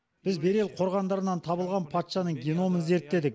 біз берел қорғандарынан табылған патшаның геномын зерттедік